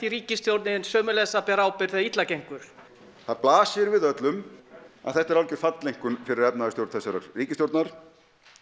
ríkisstjórnin sömuleiðis að bera ábyrgð þegar illa gengur það blasir við öllum að þetta er algjör falleinkunn fyrir efnahagsstjórn þessarar ríkisstjórnar